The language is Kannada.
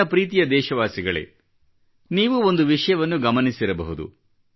ನನ್ನ ಪ್ರೀತಿಯ ದೇಶವಾಸಿಗಳೇ ನೀವು ಒಂದು ವಿಷಯವನ್ನು ಗಮನಿಸಿರಬಹುದು